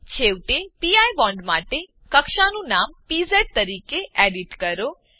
છેવટે P bond માટે કક્ષાનું નામ પીઝ તરીકે એડીટ કરો